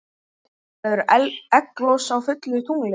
Verður egglos á fullu tungli?